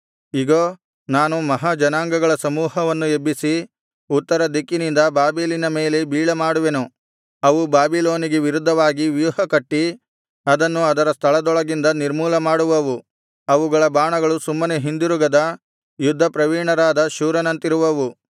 ಇಗೋ ನಾನು ಮಹಾ ಜನಾಂಗಗಳ ಸಮೂಹವನ್ನು ಎಬ್ಬಿಸಿ ಉತ್ತರ ದಿಕ್ಕಿನಿಂದ ಬಾಬೆಲಿನ ಮೇಲೆ ಬೀಳಮಾಡುವೆನು ಅವು ಬಾಬಿಲೋನಿಗೆ ವಿರುದ್ಧವಾಗಿ ವ್ಯೂಹಕಟ್ಟಿ ಅದನ್ನು ಅದರ ಸ್ಥಳದೊಳಗಿಂದ ನಿರ್ಮೂಲಮಾಡುವವು ಅವುಗಳ ಬಾಣಗಳು ಸುಮ್ಮನೆ ಹಿಂದಿರುಗದ ಯುದ್ಧಪ್ರವೀಣರಾದ ಶೂರನಂತಿರುವವು